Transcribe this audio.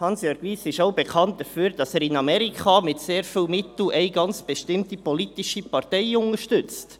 Hansjörg Wyss ist auch dafür bekannt, dass er in Amerika eine ganz bestimmte politische Partei mit sehr vielen Mitteln unterstützt.